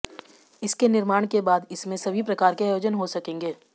इसके निर्माण के बाद इसमें सभी प्रकार के आयोजन हो सकेंगे